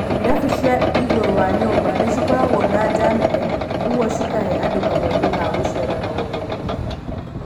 Irabu cia igũrũ wa nyũmba nĩcikoragwo na njaa nene, ũguo cikahe andũ kamweke ga gũcera na gũthũngũtha.